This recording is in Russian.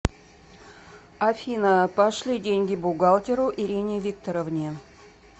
афина пошли деньги бухгалтеру ирине викторовне